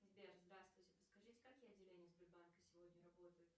сбер здравствуйте подскажите какие отделения сбербанка сегодня работают